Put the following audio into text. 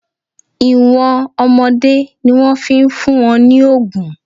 Ìwọ̀n ọmọdé ni wọ́n fi ń fún wọn ní òògùn.